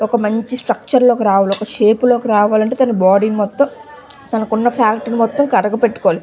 ఒక మంచి స్ట్రక్చర్ లోకి రావాలి ఒక షేప్ లోకి రావాలి అంటే తన బాడీ మొత్తం తన ఫ్యాట్ ని మొత్తం కరగ పెట్టుకోవాలి.